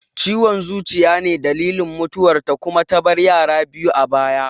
Ciwon zuciya ne dalilin mutuwar ta kuma ta bar yara biyu a baya